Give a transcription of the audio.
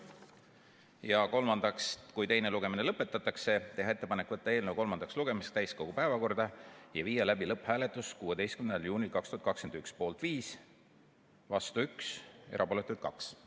Ja kolmandaks, kui teine lugemine lõpetatakse, teha ettepanek võtta eelnõu kolmandaks lugemiseks täiskogu päevakorda ja viia läbi lõpphääletus 16. juunil 2021, poolt 5, vastu 1 ja erapooletuid 2.